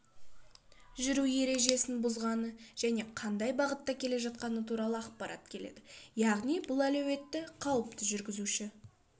жүру ережесін бұзғаны және қандай бағыттакеле жатқаны туралы ақпарат келеді яғни бұл әлеуетті қауіпті жүргізуші